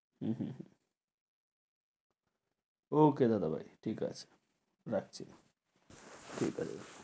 হম হম হম, okay দাদা ভাই, ঠিক আছে রাখছি ঠিক আছে।